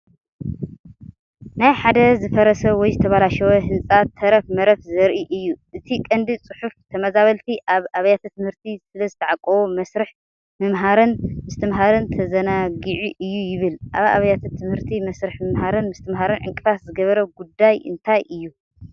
ናይ ሓደ ዝፈረሰ ወይ ዝተበላሸወ ህንጻ ተረፍ መረፍ ዘርኢ እዩ። እቲ ቀንዲ ጽሑፍ "ተመዛበልቲ ኣብ ኣብያተ ትምህርቲ ስለዝተዓቖቡ መስርሕ ምምሃርን ምስትምሃርን ተዘናጊዑ'ዩ" ይብል። ኣብ ኣብያተ ትምህርቲ መስርሕ ምምሃርን ምስትምሃርን ዕንቅፋት ዝገበረ ጉዳይ እንታይ እዩ?